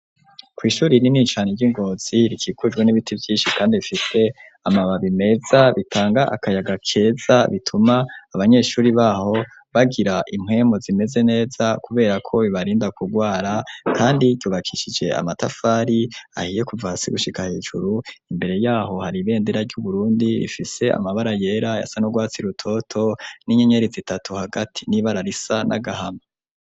Kw'shuri rinini cane ry'i Ngozi rikikujwe n'ibiti vyinshi kandi bifise amababi meza bitanga akayaga keza bituma abanyeshuri baho bagira impwemu zimeze neza kubera ko bibarinda kugwara, kandi yubakishije amatafari ahiye kuva hasi gushika hejuru, imbere yaho hari ibendera ry'Uburundi ifise amabara yera, ayasa n'urwatsi rutoto n'inyenyeri zitatu hagati, n'ibara risa n'agahama.